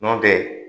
Nɔntɛ